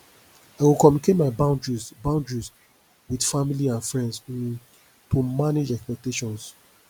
i go communicate my boundaries boundaries with family and friends um to manage expectations